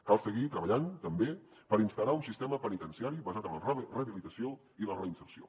cal seguir treballant també per instaurar un sistema penitenciari basat en la rehabilitació i la reinserció